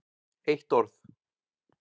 eitt orð!